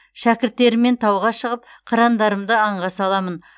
шәкірттеріммен тауға шығып қырандарымды аңға саламын